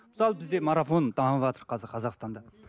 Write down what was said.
мысалы бізде марафон дамыватыр қазір қазақстанда